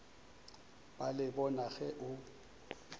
ba le bona ge o